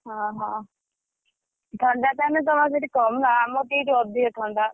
ଓହୋ! ଥଣ୍ଡା ତାହେନେ ତମର ସେଠି କମ୍ ନା ଆମର ତ ଏଠି ଅଧିକ ଥଣ୍ଡା।